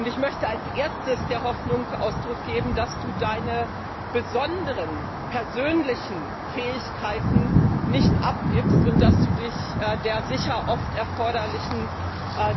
Als Erstes möchte ich der Hoffnung Ausdruck geben, dass Du Deine besonderen persönlichen Fähigkeit nicht abgibst und dass Du Dich der sicher oft erforderlichen